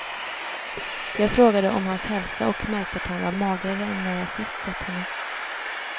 Jag frågade om hans hälsa och märkte att han var magrare än när jag sist sett honom.